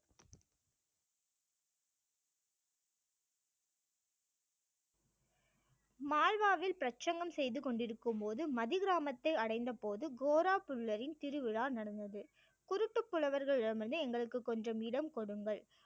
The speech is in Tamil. மால்வாவில் பிரசங்கம் செய்து கொண்டிருக்கும் போது மதி கிராமத்தை அடைந்தபோது கோரா புல்லரின் திருவிழா நடந்தது குருட்டு புலவர்களிடமிருந்து எங்களுக்கு கொஞ்சம் இடம் கொடுங்கள்